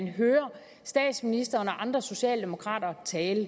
hører statsministeren og andre socialdemokrater tale